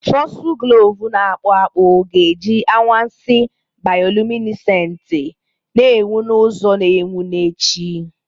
Fosuglov na-akpụ akpụ ga-eji anwansi bioluminesenti, na-enwu n'ụzọ na-enwu n'echi.